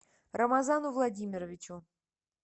рамазану владимировичу